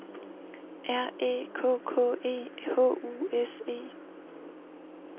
R Æ K K E H U S E